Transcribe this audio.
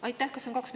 Aitäh!